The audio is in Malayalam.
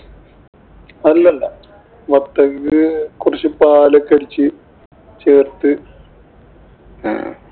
അല്ലല്ല. വത്തക്കെ കൊറച്ചു പാലൊക്കെ അടിച്ചു ചേര്‍ത്ത്